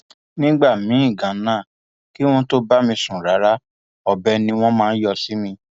nígbà míín ganan kí wọn tóó bá mi sùn rárá ọbẹ ni wọn máa yọ sí mi